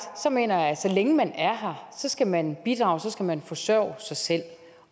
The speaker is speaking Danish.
mener jeg at så længe man er her skal man bidrage så skal man forsørge sig selv